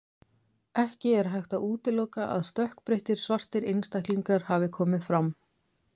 Ekki er hægt að útiloka að stökkbreyttir, svartir einstaklingar hafi komið fram.